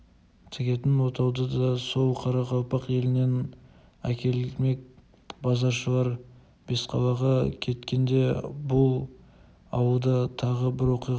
тігетін отауды да сол қарақалпақ елінен әкелмек базаршылар бесқалаға кеткенде бұл ауылда тағы бір оқиға